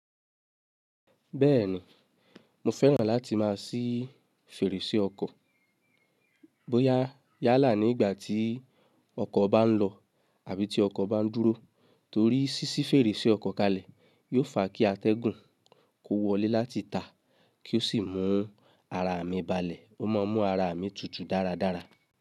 Bẹ́ẹ̀ni, mo fẹ́ràn láti má a ṣí fèrèsé ọkọ̀, bóyá yálà ní ìgbà tí ọkọ̀ bá ń lọ àbí tí ọkọ̀ bá ń dúró, torí ṣíṣí fèrèsé ọkọ̀ kalẹ̀ yóò fa kí atẹ́gùn kó wọlé láti tàá kí ó sì mú ara mi balẹ̀, ó má ń mú ara mi tutù dáradára.